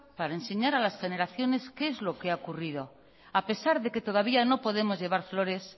para enseñar a las generaciones que es lo que ha ocurrido a pesar de que todavía no podemos llevar flores